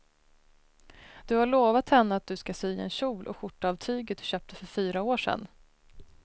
Du har lovat henne att du ska sy en kjol och skjorta av tyget du köpte för fyra år sedan.